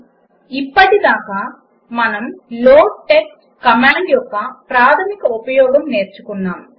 000559 000504 ఇప్పటిదాకా మనము loadtxt command యొక్క ప్రాధమిక ఉపయోగం నేర్చుకున్నాము